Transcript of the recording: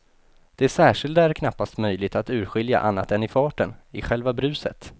Det särskilda är knappast möjligt att urskilja annat än i farten, i själva bruset.